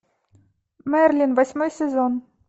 мерлин восьмой сезон